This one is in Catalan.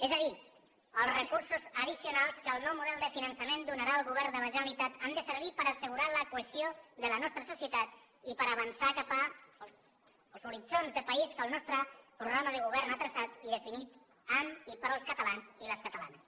és a dir els recursos addicionals que el nou model de finançament donarà al govern de la generalitat han de servir per assegurar la cohesió de la nostra societat i per avançar cap als horitzons de país que el nostre programa de govern ha traçat i definit amb i per als catalans i les catalanes